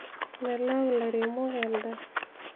melau ilairemok endaa